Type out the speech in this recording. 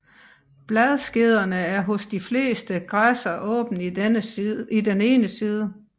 Bladskederne er hos de fleste græsser åben i den ene side